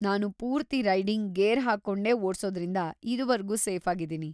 ನಾನು ಪೂರ್ತಿ riding gear ಹಾಕ್ಕೊಂಡೇ ಓಡ್ಸೋದ್ರಿಂದ ಇದುವರ್ಗೂ ಸೇಫಾಗಿದೀನಿ.